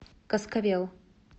каскавел